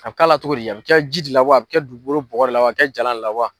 A bɛ k'a la cogodi a bɛ kɛ ji di la wa a bɛ kɛ dugukolo bɔgɔ de la wa a bɛ kɛ jalan ne la wa.